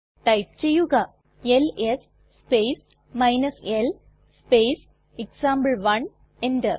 type ചെയ്യുക LS space l space example one enter